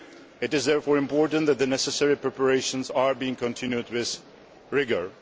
It is therefore important that the necessary preparations are being continued with rigour.